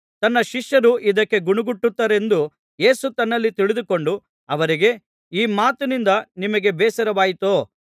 ತನ್ನ ಶಿಷ್ಯರು ಇದಕ್ಕೆ ಗೊಣಗುಟ್ಟುತ್ತಾರೆಂದು ಯೇಸು ತನ್ನಲ್ಲಿ ತಿಳಿದುಕೊಂಡು ಅವರಿಗೆ ಈ ಮಾತಿನಿಂದ ನಿಮಗೆ ಬೇಸರವಾಯಿತೋ